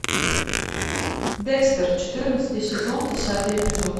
декстер четырнадцатый сезон десятый эпизод